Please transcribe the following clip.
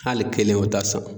Hali kelen u t'a san.